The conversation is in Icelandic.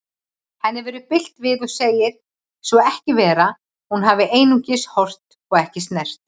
Henni verður bilt við og segir svo ekki vera, hún hafi einungis horft, ekki snert.